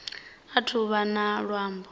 athu u vha na luambo